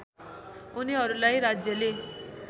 उनीहरूलाई राज्यले